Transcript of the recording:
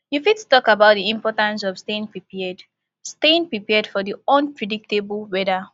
you fit talk about di importance of staying prepared staying prepared for di unpredictable weather